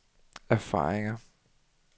erfaringer